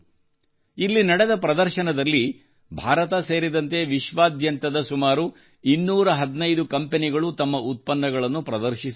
ಇಲ್ಲಿ ನಡೆದ ಪ್ರದರ್ಶನದಲ್ಲಿ ಭಾರತ ಸೇರಿದಂತೆ ವಿಶ್ವಾದ್ಯಂತದ ಸುಮಾರು 215 ಕಂಪನಿಗಳು ತಮ್ಮ ಉತ್ಪನ್ನಗಳನ್ನು ಪ್ರದರ್ಶಿಸಿದ್ದವು